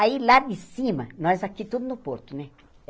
Aí lá de cima, nós aqui tudo no porto, né?